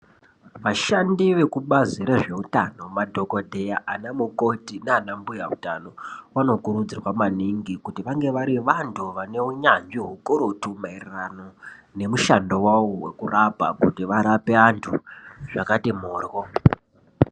Vashandi vekubazi rezveutano madhokodheya ana mukoti nana mbuya utano vanokurudzirwa maningi kuti vange vari vantu vane unyanzvi ukurutu maererano nemushando wawo wekurapa kuti varape vantu zvakati moryo.